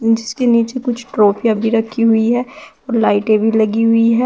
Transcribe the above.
जिसके नीचे कुछ ट्राफियां भी रखी हुई है और लाइटें भी लगी हुई है।